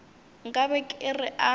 nka be ke re a